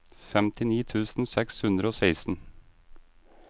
femtini tusen seks hundre og seksten